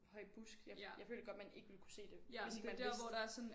Høj busk jeg jeg føler godt man ikke ville kunne se det hvis ikke man vidste det